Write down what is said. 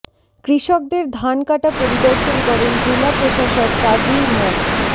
কৃষকদের ধান কাটা পরিদর্শন করেন জেলা প্রশাসক কাজী মো